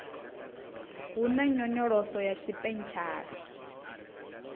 hu na nyonyoloso ya tshipentshala